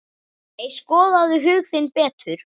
Nei, skoðaðu hug þinn betur.